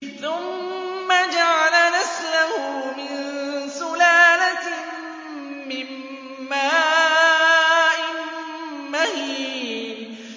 ثُمَّ جَعَلَ نَسْلَهُ مِن سُلَالَةٍ مِّن مَّاءٍ مَّهِينٍ